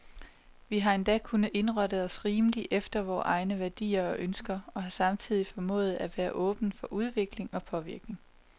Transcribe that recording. Vi har endda kunnet indrette os rimeligt efter vore egne værdier og ønsker, og har samtidig formået at være åbne for udvikling og påvirkning.